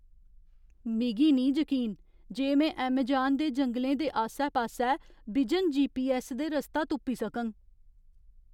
मिगी निं जकीन जे में ऐमजान दे जंगलै दे आस्सै पास्सै बिजन जीपीऐस्स दे रस्ता तुप्पी सकङ।